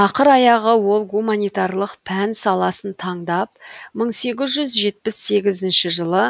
ақыр аяғы ол гуманитарлық пән саласын таңдап мың сегіз жүз жетпіс сегізінші жылы